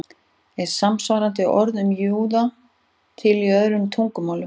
Er samsvarandi orð um júða til í öðrum tungumálum?